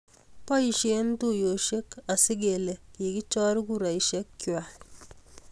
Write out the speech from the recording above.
boishen tuiyoshek asigelee kigichor kureshek kwai